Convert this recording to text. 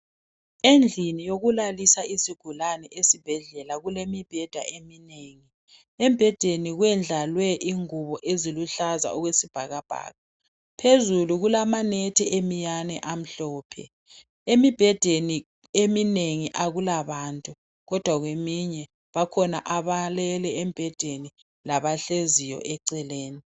Endlini yokulalisa izigulane esibhedlela kule mibheda eminengi .Embhedeni kwendlalwe ingubo eziluhlaza okwesibhakabhaka .Phezulu kulama nethi emiyane amhlophe .Emibhedeni eminengi akulabantu kodwa kweminye bakhona abalele embhedeni labahleziyo eceleni.